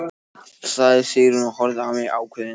sagði Sigrún og horfði á mig ákveðin.